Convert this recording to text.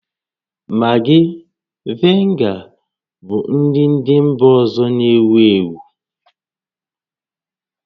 Maggi, vinega bụ nri ndị mba ọzọ na-ewu ewu